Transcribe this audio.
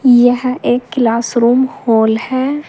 यह एक class room hall है।